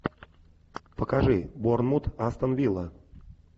покажи борнмут астон вилла